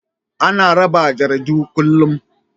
Ana rarraba jaridu kullum.